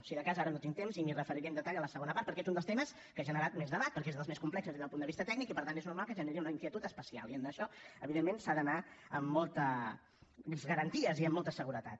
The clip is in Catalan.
si de cas ara no tinc temps m’hi referiré amb detall a la segona part perquè és un dels temes que ha generat més debat perquè és dels més complexos des del punt de vista tècnic i per tant és normal que generi una inquietud especial i en això evidentment s’ha d’anar amb moltes garanties i amb molta seguretat